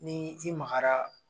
Ni ji magara